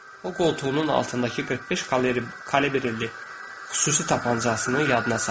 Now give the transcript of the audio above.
O qoltuğunun altındakı 45 kalibrli xüsusi tapançasını yadına saldı.